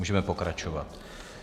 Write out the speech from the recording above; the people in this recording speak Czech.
Můžeme pokračovat.